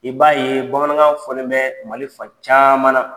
I b'a ye Bamanankan fɔlen bɛ Mali fan caman na.